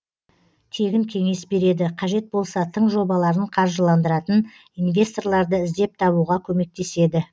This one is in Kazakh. тегін кеңес береді қажет болса тың жобаларын қаржыландыратын инвесторларды іздеп табуға көмектеседі